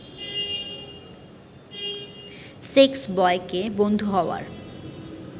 সেক্সবয়কে বন্ধু হওয়ার